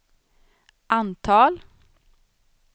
antal